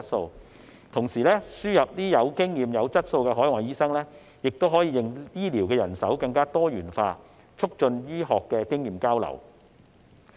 再者，同時輸入有經驗和有質素的海外醫生，亦可以令醫療人手更多元化，促進醫學經驗交流。